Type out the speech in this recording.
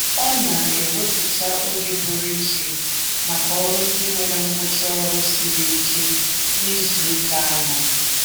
Ọ na-ewepụta oge pụrụ iche maka ọrụ ndị nwere ngwụcha ọrụ siri ike n'izuụka ahụ.